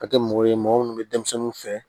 Ka kɛ mɔgɔ ye mɔgɔ minnu bɛ denmisɛnninw fɛ